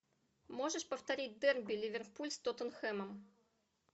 можешь повторить дерби ливерпуль с тоттенхэмом